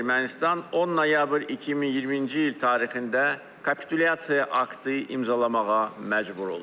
Ermənistan 10 noyabr 2020-ci il tarixində kapitulyasiya aktı imzalamağa məcbur oldu.